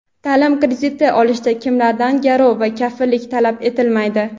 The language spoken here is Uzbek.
Taʼlim krediti olishda kimlardan garov va kafillik talab etilmaydi?.